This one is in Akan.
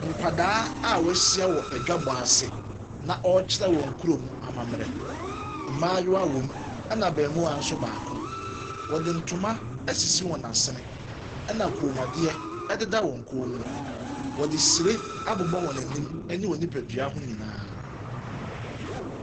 Nkwadaa a wɔahyia wɔ edwabɔase na ɔrekyerɛ wɔn kurom ammamerɛ. Mmaayewa wɔ mu ɛna abɛɔmoa nso baako. Wɔde ntoma ɛsisi wɔn asene, ɛna kɔnmuadeɛ ededa wɔn kɔn mu. Ɔde hyire abobɔ wɔn anim ɛna wɔn nnipadua ho nyinaa.